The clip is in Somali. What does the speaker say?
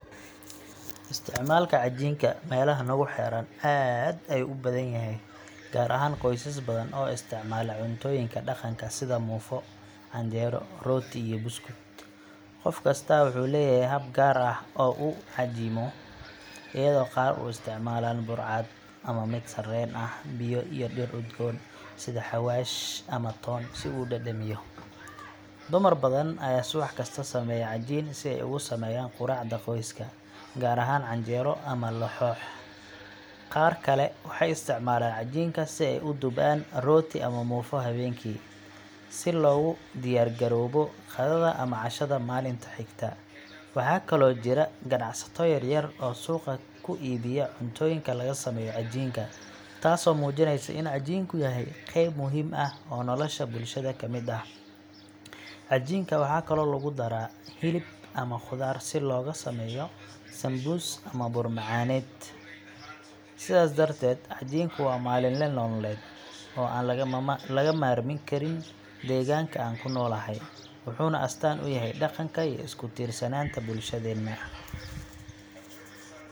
Isticmaalka cajiinka meelaha nagu xeeran aad ayuu u badan yahay, gaar ahaan qoysas badan oo isticmaala cuntooyinka dhaqanka sida muufo, canjeero, rooti, iyo buskud. Qof kastaa wuxuu leeyahay hab gaar ah oo uu u cajiimo, iyadoo qaar isticmaalaan bur cad ama mid sarreen ah, biyo, iyo dhir udgoon sida xawaash ama toon si uu u dhadhamiyo. Dumar badan ayaa subax kasta sameeya cajiin si ay ugu sameeyaan quraacda qoyska, gaar ahaan canjeero ama laxoox. Qaar kale waxay isticmaalaan cajiinka si ay u dubaan rooti ama muufo habeenkii, si loogu diyaargaroobo qadada ama cashada maalinta xigta. Waxaa kaloo jira ganacsato yaryar oo suuqa ku iibiya cuntooyinka laga sameeyo cajiinka, taasoo muujinaysa in cajiinku yahay qayb muhiim ah oo nolosha bulshada ka mid ah. Cajiinka waxa kale oo lagu daraa hilib ama khudaar si loogu sameeyo sambuus ama bur-macaaneed. Sidaas darteed, cajiinku waa maalinle nololeed oo aan laga maarmi karin deegaanka aan ku noolahay, wuxuuna astaan u yahay dhaqanka iyo isku-tiirsanaanta bulshadeenna.